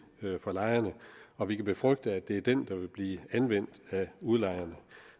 for lejerne og vi kan befrygte at det er den der vil blive anvendt af udlejerne